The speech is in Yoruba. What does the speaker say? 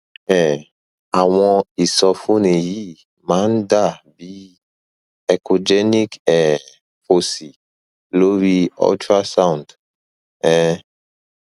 um àwọn ìsọfúnni yìí máa ń dà bí echogenic um foci lori ultrasound um